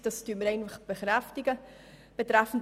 Das bekräftigen wir.